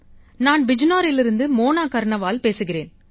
நான் பிஜ்னோரிலிருந்து மோனா கர்ணவால் பேசுகிறேன்